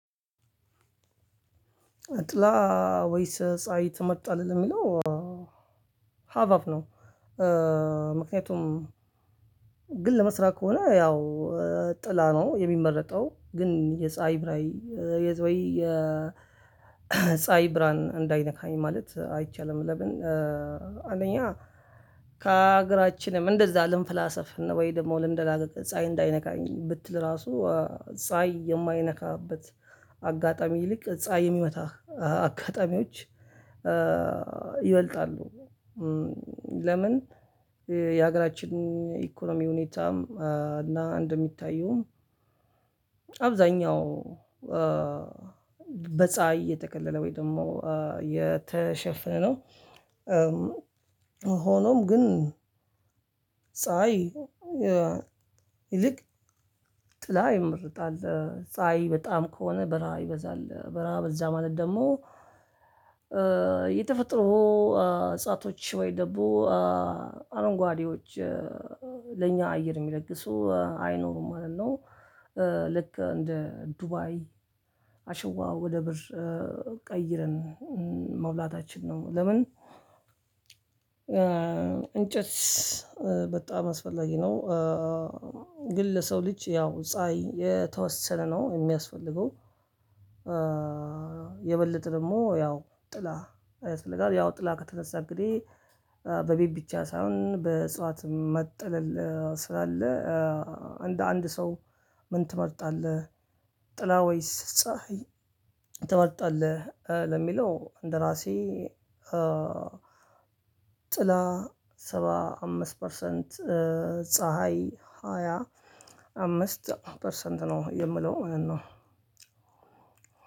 ጥላ ወይስ ፀሀይ ትመርጣለህ ለሚለው ሃፍ ሃፍ ነው። ምክኛቱም ግን ለመስራት ከሆነ ያው ጥላ ነው የሚመረጠው ግን የፀሀይ ብራይ ፀሀይ ብርሃን እንዳይነካኝ ማለት አይቻልም። ለምን አንደኛ ከሀገራችንም እንደዛ ልንፈላሰፍ ወይ ደግሞ ልንደላቀቅ ፀሀይ እንዳይነካኝ ብትል ራሱ ፀሀይ የማይነካበት አጋጣሚ ይልቅ ፀሀይ የሚመታህ አጋጣሚዎች ይበልጣሉ። ለምን የሀገራችን ኢኮኖሚ ሁኔታም እና እንደሚታየውም አብዛኛው በጸሃይ የተከለለ ወይም ደግሞ የተሸፈነው። ሆኖም ግን ፀሀይ ይልቅ ጥላ ይመርጣል ፀሀይ በጣም ከሆነ በራ ይበዛል በራ በዛ ማለት ደግሞ የተፈጥሮ እጽዋቶች ወይ ደሞ አረንጓዴዎች ለኛ አየር የሚለግሱ አይኖሩም ማለት ነው። ልክ እንደ ዱባይ አሸዋ ወደ ብር ቀይረን መውላታችን ነው ለምን? እንጨት በጣም አስፈላጊ ነው። ግን ለሰው ልጅ ያው ፀሀይ የተወሰነ ነው የሚያስፈልገው። የበለጠ ደግሞ ያው ጥላ ያስፈልጋል ያው ጥላ ከተነሳ እንግዲህ በቤት ብቻ ሳይሆን በእጽዋትም መጥለል ስላለ እንድ አንድ ሰው። ምን ትመርጣለህ ጥላ ወይስ ፀሀይ ትመርጣለህ? ለሚለው እንደራሴ ጥላ ሰባ አምስት ፐርሰንት ፀሀይ ሃያ አምስት ፐርሰንት ነው የምለው ማለት ነው።